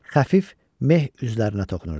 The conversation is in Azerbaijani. Xəfif meh üzlərinə toxunurdu.